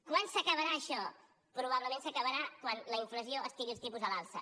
quan s’acabarà això probablement s’acabarà quan la inflació estigui als tipus a l’alça